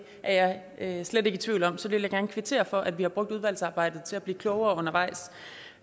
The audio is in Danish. er jeg slet ikke i tvivl om så jeg vil gerne kvittere for at vi har brugt udvalgsarbejdet til at blive klogere undervejs